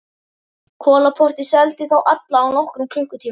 Kolaportið og seldi þá alla á nokkrum klukkutímum.